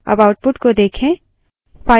अब output को देखें